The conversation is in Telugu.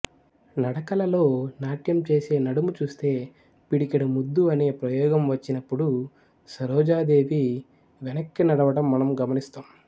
నడకలలో నాట్యంచేసే నడుము చూస్తే పిడికెడు ముద్దు అనే ప్రయోగం వచ్చినప్పుడు సరోజాదేవి వెనక్కి నడవటం మనం గమనిస్తాం